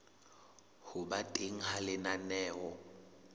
ho ba teng ha lenaneo